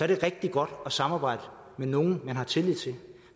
det er rigtig godt at samarbejde med nogle man har tillid til